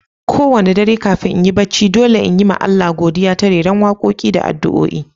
Ko wani dare kafin in, yi bacci, dolle n'yi ma Allah godiya ta reran wakoki da addu'a